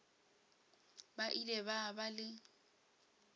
ba ile ba ba le